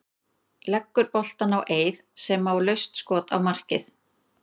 Leggur boltann á Eið sem á laust skot á markið.